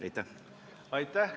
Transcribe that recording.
Aitäh!